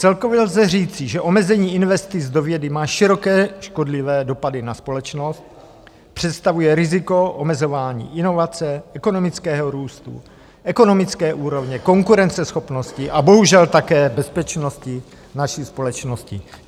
Celkově lze říci, že omezení investic do vědy má široké, škodlivé dopady na společnost, představuje riziko omezování inovace, ekonomického růstu, ekonomické úrovně, konkurenceschopnosti a bohužel také bezpečnosti naší společnosti.